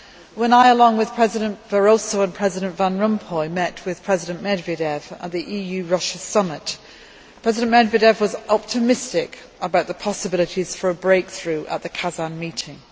When I, along with President Barroso and President Van Rompuy, met with President Medvedev at the EU Russia summit, President Medvedev was optimistic about the possibilities for a breakthrough at the Kazan meeting.